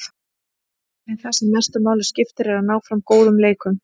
En það sem mestu máli skiptir er að ná fram góðum leikum.